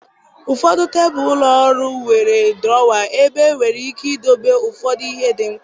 Ụfọdụ tebụl ụlọ ọrụ nwere drawer, ebe enwere ike idobe ụfọdụ ihe dị mkpa.